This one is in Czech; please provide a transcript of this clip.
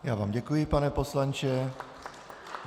Já vám děkuji, pane poslanče.